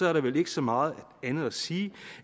er der vel ikke så meget andet at sige